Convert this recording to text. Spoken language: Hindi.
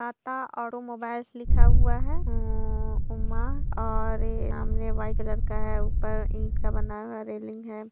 अत- ता ओटो मोबाइल्स हुआ लिखा है उम्म्म उमा और ऐ -सामने वाइट कलर का है और ऊपर इट का बनाया हुआ रेलिंग है।